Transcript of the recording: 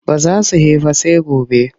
Ba za su he ba sai gobe.